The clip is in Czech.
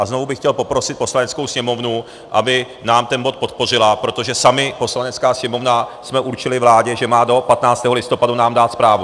A znovu bych chtěl poprosit Poslaneckou sněmovnu, aby nám ten bod podpořila, protože sami, Poslanecká sněmovna, jsme určili vládě, že má do 15. listopadu nám dát zprávu.